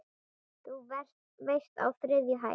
Þú veist- á þriðju hæð.